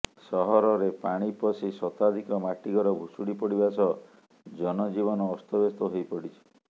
ସହରରେ ପାଣି ପଶି ଶତାଧିକ ମାଟି ଘର ଭୁଶୁଡି ପଡ଼ିବା ସହ ଜନଜୀବନ ଅସ୍ତବ୍ୟସ୍ତ ହୋଇ ପଡ଼ିଛି